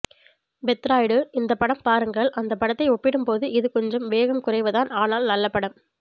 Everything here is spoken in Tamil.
பெத்ராய்டு இந்த படம் பாருங்கள் அந்த படத்தை ஒப்பிடும் போது இது கொஞ்சம் வேகம் குறைவுதான் ஆனால் நல்லபடம்